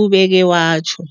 ubeke watjho.